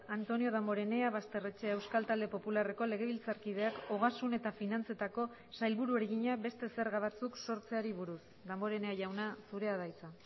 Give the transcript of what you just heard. antonio damborenea basterrechea euskal talde popularreko legebiltzarkideak ogasun eta finantzetako sailburuari egina beste zerga batzuk sortzeari buruz damborenea jauna zurea da hitza